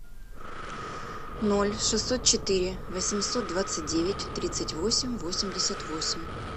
ноль шестьсот четыре восемьсот двадцать девять тридцать восемь восемьдесят восемь